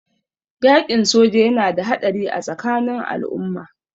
Yaƙin soji yana da haɗari a tsakanin al'umma.